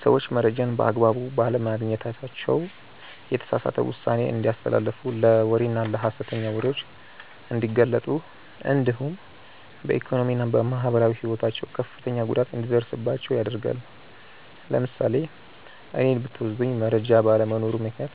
ሰዎች መረጃን በአግባቡ ባለማግኘታቸው የተሳሳተ ውሳኔ እንዲያስተላልፉ ለወሬና ለሐሰተኛ ወሬዎች እንዲጋለጡ እንዲሁም በኢኮኖሚና በማህበራዊ ሕይወታቸው ከፍተኛ ጉዳት እንዲደርስባቸው ያደርጋል። ለምሳሌ እኔን ብትወስዱኝ መረጃ ባለመኖሩ ምክንያት